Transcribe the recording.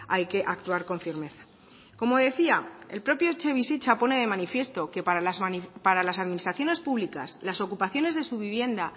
hay que actuar con firmeza como decía el propio etxebizitza pone de manifiesto que para las administraciones públicas las ocupaciones de su vivienda